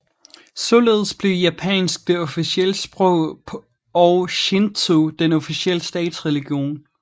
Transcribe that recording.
Således blev japansk det officielle sprog og Shintō den officielle statsreligion